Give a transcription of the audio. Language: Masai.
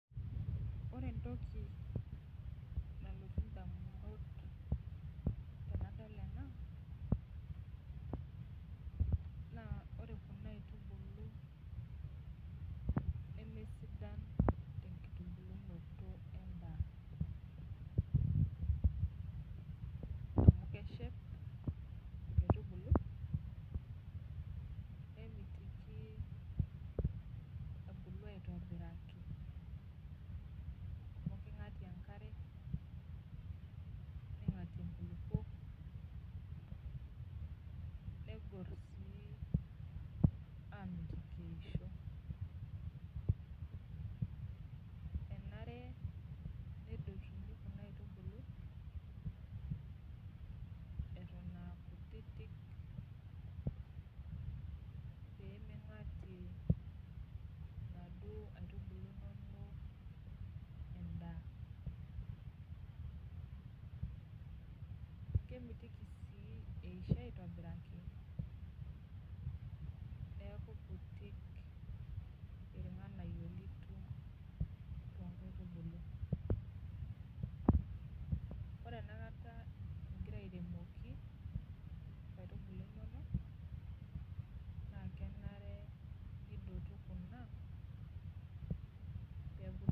Ore entoki nalotu ndamunot tanado ena na ore kuna aitubulu nemesidan tenkitunulono endaa amu keshep inkaitubulu memitiki ebulu aitobiraki amu kingatie enkare ningatie nkululuok nemitiki eisho ,enare nitauni kuna aitubulu eton aa kutitik pemeingatie enkare kemitoki si eisho aitobiraki neaku irkutik irnganayio litum ore enakatabingira airemoki nkaitubulu inonok na kenare nidotu kuna